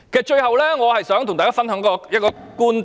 最後，我想跟大家分享一個觀點。